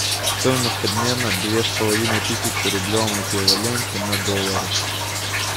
стоимость обмена две с половиной тысячи в рублевом эквиваленте на доллары